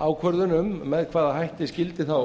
ákvörðun um með hvaða hætti skyldi þá